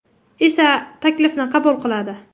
esa taklifni qabul qiladi.